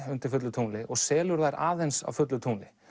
undir fullu tungli og selur þær aðeins á fullu tungli